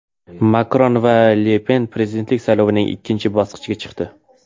Makron va Le Pen prezidentlik saylovining ikkinchi bosqichiga chiqdi.